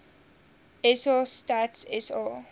sa stats sa